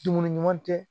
Dumuni ɲuman tɛ